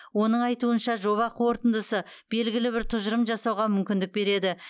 оның айтуынша жоба қорытындысы белгілі бір тұжырым жасауға мүмкіндік береді